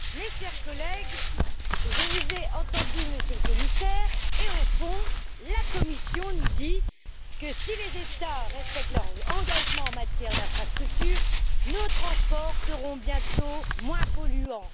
Madame la Présidente, chers collègues, je vous ai entendu, Monsieur le Commissaire, et, au fond, la Commission nous dit que si les États respectent leur engagement en matière d'infrastructures, nos transports seront bientôt moins polluants.